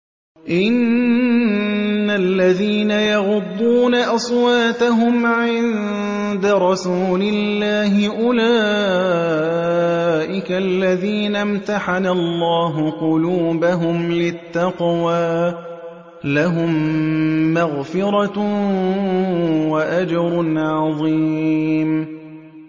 إِنَّ الَّذِينَ يَغُضُّونَ أَصْوَاتَهُمْ عِندَ رَسُولِ اللَّهِ أُولَٰئِكَ الَّذِينَ امْتَحَنَ اللَّهُ قُلُوبَهُمْ لِلتَّقْوَىٰ ۚ لَهُم مَّغْفِرَةٌ وَأَجْرٌ عَظِيمٌ